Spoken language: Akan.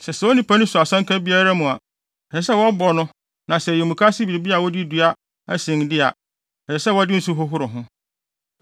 “ ‘Sɛ saa onipa no so asanka biara mu a, ɛsɛ sɛ wɔbɔ no na sɛ ɛyɛ mukaase biribi a wɔde dua na asen de a, ɛsɛ sɛ wɔde nsu hohoro ho.